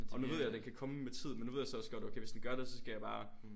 Og nu ved jeg den kan komme med tid men nu ved jeg så også godt okay hvis den gør det så skal jeg så bare